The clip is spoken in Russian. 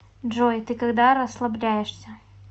джой ты когда расслабляешься